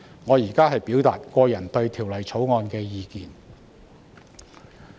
我現在表達我對《條例草案》的個人意見。